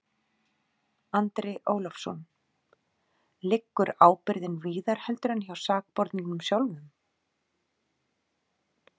Andri Ólafsson: Liggur ábyrgðin víðar heldur en hjá sakborningnum sjálfum?